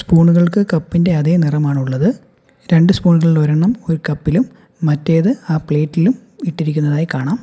സ്പൂണുകൾക്ക് cup ഇൻ്റെ അതേ നിറമാണ് ഉള്ളത് രണ്ട് സ്പൂണുകളിൽ ഒരെണ്ണം ഒരു കപ്പിലും മറ്റേത് ആ പ്ലേറ്റിലും ഇട്ടിരിക്കുന്നതായി കാണാം.